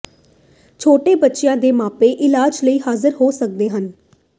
ਛੋਟੇ ਬੱਚਿਆਂ ਦੇ ਮਾਪੇ ਇਲਾਜ ਲਈ ਹਾਜ਼ਰ ਹੋ ਸਕਦੇ ਹਨ